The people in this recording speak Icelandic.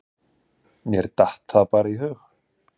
Mér datt það bara í hug.